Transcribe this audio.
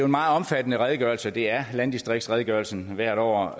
meget omfattende redegørelse det er landdistriktsredegørelsen hvert år